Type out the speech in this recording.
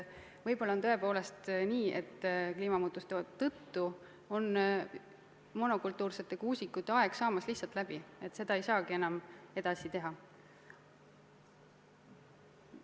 Võib-olla on tõepoolest nii, et kliimamuutuste tõttu on meil monokultuursete kuusikute aeg lihtsalt läbi saamas, see ei saagi enam võimalik olla.